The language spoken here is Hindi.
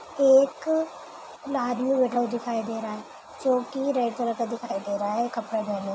एक आदमी बैठा हुआ दिखाई दे रहा है जोकि रेड कलर का दिखाई दे रहा है कपड़े पहने --